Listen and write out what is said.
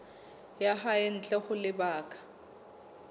ya hae ntle ho lebaka